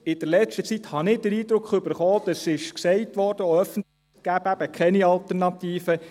In der letzten Zeit bekam ich den Eindruck – und dies wurde auch öffentlich gesagt –, es gebe keine Alternativen.